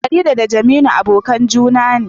Farida da Jeminu abokan juna ne